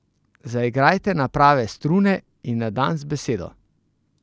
Zaigrajte na prave strune in na dan z besedo!